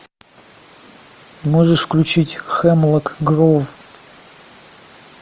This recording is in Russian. можешь включить хемлок гроув